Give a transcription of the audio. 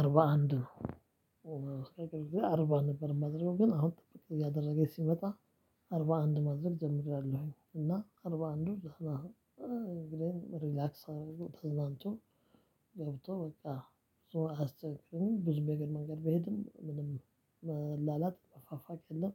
አርባ አንድ ነው። አርባ ነበር ማድረግ ግን አሁን ጥቂት እያደረገ ሲመጣ። አርባ አንድ ማድረግ ጀምሬያለሁኝ። እና አርባ አንድ ነው። እንግዲህ ሪላክስ አደረጉ ተዝናንቶ። ገብቶ በቃ እሱ አያስቸግርም። ብዙም የእግር መንገድ በሄድም ምንም መላላጥ መፋፋቅ የለም።